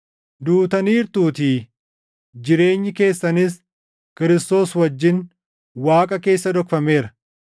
Duutaniirtuutii; jireenyi keessanis Kiristoos wajjin Waaqa keessa dhokfameera.